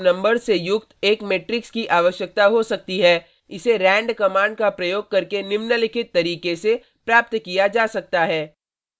एक यूजर को pseudo random numbers से युक्त एक मेट्रिक्स की आवश्यकता हो सकती है इसे rand कमांड का प्रयोग करके निम्नलिखित तरीके से प्राप्त किया जा सकता है: